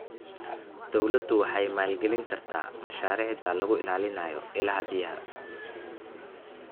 Dawladdu waxay maalgelin kartaa mashaariicda lagu ilaalinayo ilaha biyaha.